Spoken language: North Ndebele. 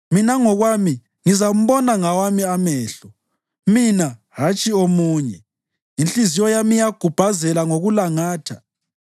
mina ngokwami ngizambona ngawami amehlo, mina hatshi omunye. Inhliziyo yami iyagubhazela ngokulangatha!